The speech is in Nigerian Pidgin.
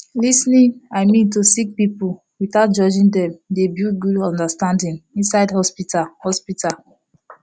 lis ten ing i min to sik pipul witout judging dem dey build gud understanding inside hosptital hosptital